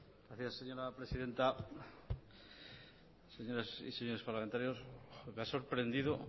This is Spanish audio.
gracias señora presidenta señoras y señores parlamentarios me ha sorprendido